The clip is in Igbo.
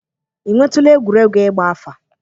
Ị nwetụla egwuregwu ịgba afa?